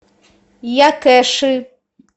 якэши